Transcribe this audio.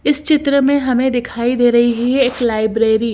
इस चित्र में हमें दिखाई दे रही है एक लाइब्रेरी --